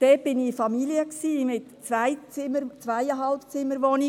Ich war dort bei Familien mit drei Kindern in Zwei- bis Zweieinhalbzimmerwohnungen.